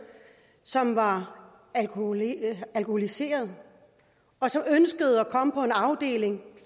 som var alkoholiseret alkoholiseret og som ønskede at komme på en afdeling